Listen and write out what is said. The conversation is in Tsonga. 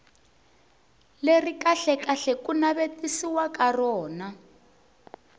leri kahlekahle ku navetisiwaka rona